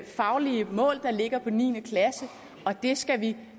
faglige mål der ligger for niende klasse og det skal vi